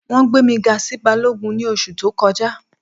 Wọn gbẹ̀ mi gà sí bálọ́gùn ni oṣù tó kọja.